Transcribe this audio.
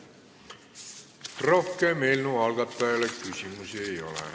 Rohkem eelnõu algatajale küsimusi ei ole.